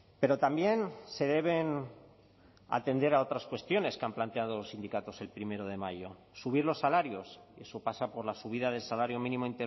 pero también se deben atender a otras cuestiones que han planteado los sindicatos el primero de mayo subir los salarios eso pasa por la subida del salario mínimo